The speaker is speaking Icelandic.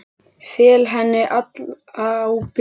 Fel henni alla ábyrgð.